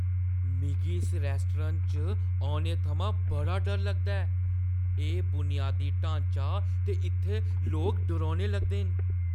मिगी इस रेस्तरां च औने थमां बड़ा डर लगदा ऐ। एह् बुनियादी ढांचा ते इत्थै लोक डरौने लगदे न।